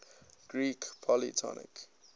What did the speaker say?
greek polytonic